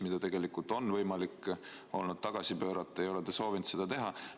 Seda on tegelikult olnud võimalik ka tagasi pöörata, aga te ei ole soovinud seda teha.